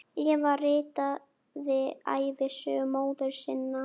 Eva ritaði ævisögu móður sinnar.